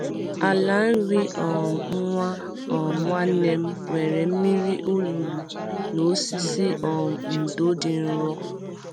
Ala nri um nwa um nwanne m nwere mmiri olulu na osisi um ndo dị nro.